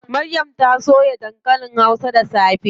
Maryam ta soya dankalin hausa da safe.